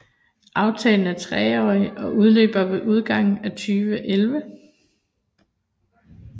Aftalen er treårig og udløber ved udgangen af 2011